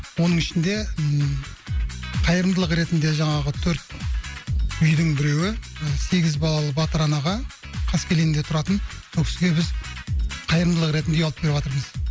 оның ішінде ммм қайырымдылық ретінде жаңағы төрт үйдің біреуі сегіз балалы батыр анаға қаскелеңде тұратын ол кісіге біз қайырымдылық ретінде үй алып беріватырмыз